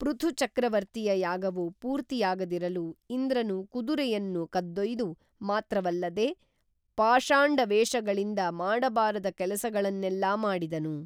ಪೃಥುಚಕ್ರವರ್ತಿಯ ಯಾಗವು ಪೂರ್ತಿಯಾಗದಿರಲು ಇಂದ್ರನು ಕುದುರೆಯನ್ನು ಕದ್ದೊಯ್ದು ಮಾತ್ರವಲ್ಲದೆ ಪಾಷಾಂಡ ವೇಷಗಳಿಂದ ಮಾಡಬಾರದ ಕೇಲಸಗಳನ್ನೆಲ್ಲಾ ಮಾಡಿದನು